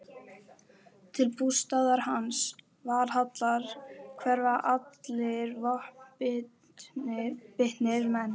Til bústaðar hans, Valhallar, hverfa allir vopnbitnir menn.